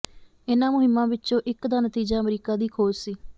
ਇਹਨਾਂ ਮੁਹਿੰਮਾਂ ਵਿੱਚੋਂ ਇੱਕ ਦਾ ਨਤੀਜਾ ਅਮਰੀਕਾ ਦੀ ਖੋਜ ਸੀ